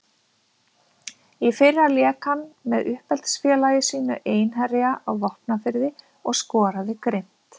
Í fyrra lék hann með uppeldisfélagi sínu Einherja á Vopnafirði og skoraði grimmt.